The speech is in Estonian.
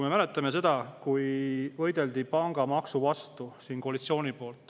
Me mäletame seda, kui koalitsioon võitles siin pangamaksu vastu.